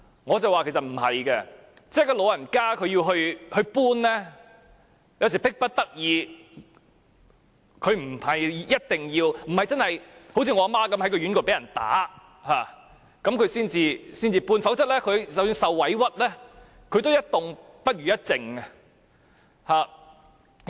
我說長者要搬遷其實是迫不得已的，他們不一定會這樣做，好像我的母親也是在院舍被人打才離開，否則即使受到委屈，她也寧願一動不如一靜。